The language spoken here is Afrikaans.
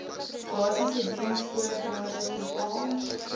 basiese diensvoorwaardes bepaal